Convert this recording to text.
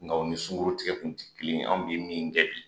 Nka o ni sunkuru tigɛ kun te kelen ye anw be min kɛ bi